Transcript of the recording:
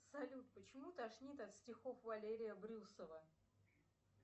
салют почему тошнит от стихов валерия брюсова